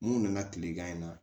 Mun nana kilegan in na